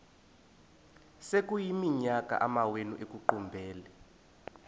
sekuyiminyaka amawenu ekuqumbele